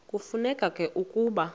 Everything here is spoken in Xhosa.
kufuneka ke ukuba